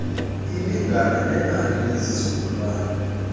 lilingana nenani lezizukulwana